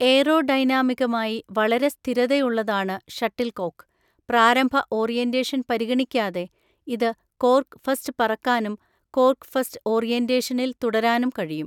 എയറോഡൈനാമികമായി വളരെ സ്ഥിരതയുള്ളതാണ് ഷട്ടിലുക്കോക്ക്, പ്രാരംഭ ഓറിയന്റേഷൻ പരിഗണിക്കാതെ, ഇത് കോർക്ക് ഫസ്റ്റ് പറക്കാനും കോർക്ക് ഫസ്റ്റ് ഓറിയന്റേഷനിൽ തുടരാനും കഴിയും.